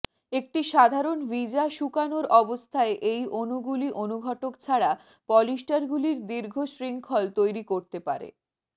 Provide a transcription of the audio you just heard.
একটি সাধারণ ভিজা শুকানোর অবস্থায় এই অণুগুলি অনুঘটক ছাড়া পলিস্টারগুলির দীর্ঘ শৃঙ্খল তৈরি করতে পারে